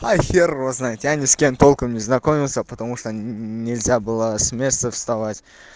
а хер его знает я ни с кем толком не знакомился потому что нельзя было с места вставать